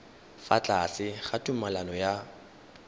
fa tlase ga tumalano ya